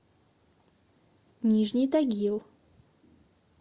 нижний тагил